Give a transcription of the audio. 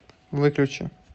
выключи